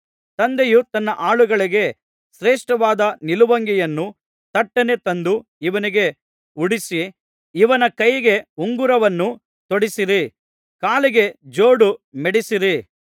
ತಂದೆಯು ತನ್ನ ಆಳುಗಳಿಗೆ ಶ್ರೇಷ್ಠವಾದ ನಿಲುವಂಗಿಯನ್ನು ತಟ್ಟನೆ ತಂದು ಇವನಿಗೆ ಉಡಿಸಿ ಇವನ ಕೈಗೆ ಉಂಗುರವನ್ನು ತೊಡಿಸಿರಿ ಕಾಲಿಗೆ ಜೋಡು ಮೆಡಿಸಿರಿ